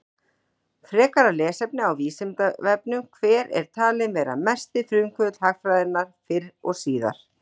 Frekara lesefni á Vísindavefnum: Hver er talinn vera mesti frumkvöðull hagfræðinnar fyrr og síðar?